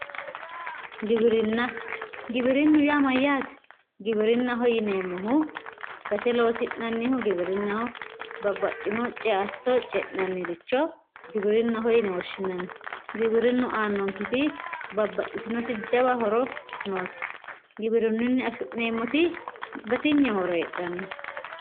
Giwirinna giwirinnu yaa mayyaate? Giwirinnaho yineemmohu gate loosi'nannihu babbaxxano ceatto ce'nannihu giwirinnaho yine woshshinanni giwirinnu aannonketi babbaxxitino jawa horo noosi giwirinnunni afi'neemmoti batinye horo noosi.